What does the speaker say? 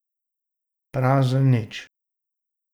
Prazen nič.